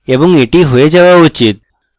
এবং এটি হয়ে যাওয়া উচিত